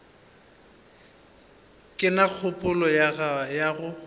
ke na kgopolo ya go